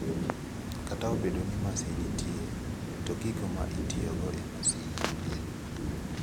Kata obedo ni masin nitie to gigo ma itiyogo e masin onge.